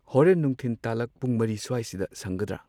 ꯍꯣꯔꯦꯟ ꯅꯨꯡꯊꯤꯟ ꯇꯥꯂꯛ ꯄꯨꯡ ꯃꯔꯤ ꯁ꯭ꯋꯥꯏꯁꯤꯗ ꯁꯪꯒꯗ꯭ꯔꯥ꯫